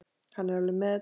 Hann er alveg með þetta.